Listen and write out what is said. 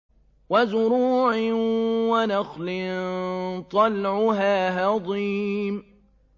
وَزُرُوعٍ وَنَخْلٍ طَلْعُهَا هَضِيمٌ